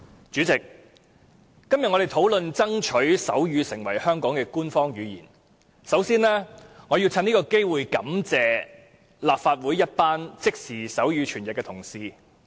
主席，我們今天討論爭取手語成為香港的官方語言，首先，我要藉此機會感謝立法會一群負責即時手語傳譯的同事。